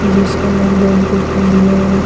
जिसका का नाम बैंक ऑफ इंडिया है।